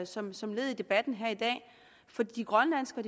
som som led i debatten her i dag for de grønlandske og